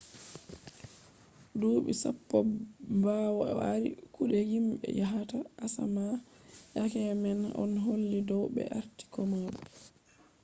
duuɓi sappo ɓawo o ardi kuɗe himɓe yahata asama yake man on holli dow ɓe arti komoi